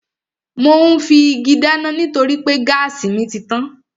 Mò ún fi igi dáná nítorí pé gáàsì mi títàn